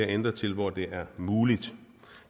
ændret til hvor det er muligt